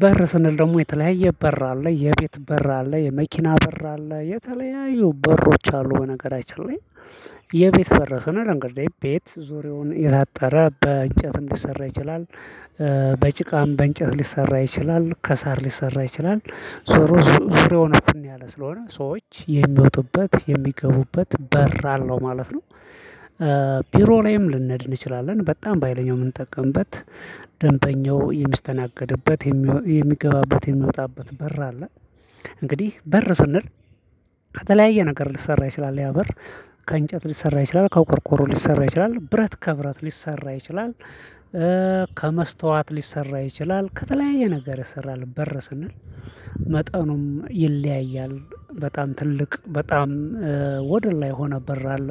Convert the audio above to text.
በር ስንል ደግሞ የተለያየ በር አለ የቤት በር አለ የመኪና በር አለ የተለያዩ በሮች አሉ በነገራችን ላይ። የቤት በር ስንል እንግዲህ ቤት ዙሪያውን የታጠረ በእንጨት ሊሰራ ይችላል። በጭቃም በእንጨት ሊሰራ ይችላል ከሳር ሊሰራ ይችላል። ዞሮ ዙሪያውን እፍን ያለ ስለሆነ ሰዎች የሚወጡበት የሚገቡበት በር አለው ማለት ነው። ቢሮ ላይም ልኔድ እንችላለን በጣም በሃይለኛው የምንጠቀምበት ደንበኛው የሚስተናገድበት የሚገባበት የሚወጣበት በር አለ። እንግዲህ በር ስንል ከተለያየ ነገር ሊሰራ ይችላል ያ በር። ከእንጨት ሊሰራ ይችላል ከቆርቆሮ ሊሰራ ይችላል ብረት ከብረት ሊሰራ ይችላል። ከመስታወት ሊሰራ ይችላል ከተለያየ ነገር ይሰራል በር ስንል። መጠኑም ይለያያል በጣም ትልቅ በጣም ወደ ላይ የሆነ በር አለ።